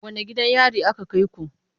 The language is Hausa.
Wane gidan yari aka kai ku?